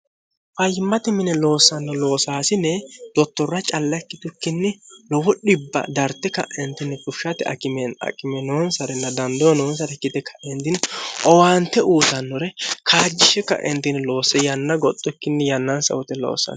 fayyimmati mine loossanno loosaasine dottorra calla ikkitukkinni lowu dhibba darte ka'entinni fufishate aqime noonsarenna dandeyo noonsare ikite kaentini owaante uutannore kaajjishi ka'entini loosse yanna goxxukkinni yannan saote loossano